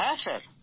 হ্যাঁ স্যার